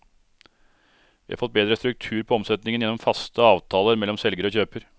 Vi har fått bedre struktur på omsetningen gjennom faste avtaler mellom selger og kjøper.